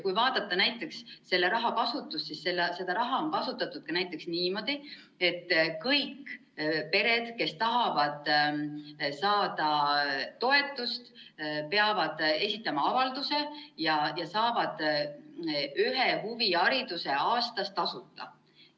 Kui vaadata näiteks selle raha kasutust, siis seda raha on kasutatud ka näiteks niimoodi, et kõik pered, kes tahavad saada toetust, peavad esitama avalduse ja saavad ühes huviringis tasuta käia.